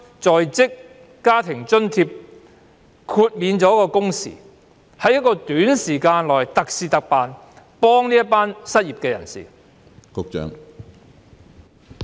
在職家庭津貼方面，可否豁免工時要求，容許在短期內特事特辦，以協助失業人士？